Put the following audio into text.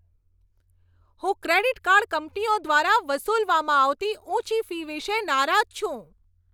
હું credit card કંપનીઓ દ્વારા વસૂલવામાં આવતી ઊંચી ફી વિશે નારાજ છું.